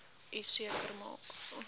u seker maak